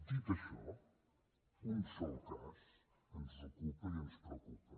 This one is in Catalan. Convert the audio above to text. dit això un sol cas ens ocupa i ens preocupa